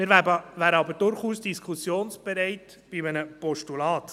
Wir wären aber durchaus diskussionsbereit bei einem Postulat.